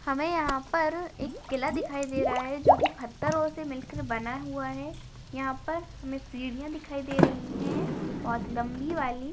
हमे यहाँ पर एक किला दिखाई दे रहा है। जो की पत्थरों से मिलकर बना हुआ है। यहाँ पर हमे सीढ़िया दिखाई दे रही है बहुत लंबी वाली।